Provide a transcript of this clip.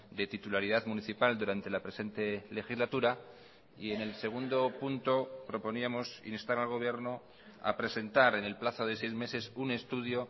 de titularidad municipal durante la presente legislatura y en el segundo punto proponíamos instar al gobierno a presentar en el plazo de seis meses un estudio